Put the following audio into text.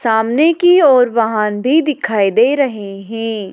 सामने की और वहांदे दिखाई दे रहे है।